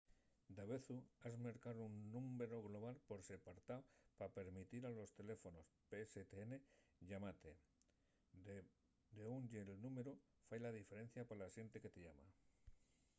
davezu has mercar un númberu global per separtao pa permitir a los teléfonos pstn llamate. d’ú ye’l númberu fai la diferencia pa la xente que te llama